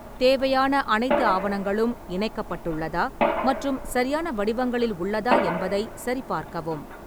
தேவையான அனைத்து ஆவணங்களும் இணைக்கப்பட்டுள்ளதா மற்றும் சரியான வடிவங்களில் உள்ளதா என்பதை சரிபார்க்கவும்.